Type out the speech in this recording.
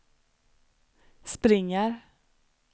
springer